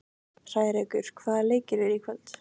Hrærekur, hvaða leikir eru í kvöld?